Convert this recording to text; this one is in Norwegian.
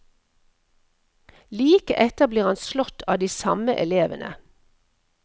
Like etter blir han slått av de samme elevene.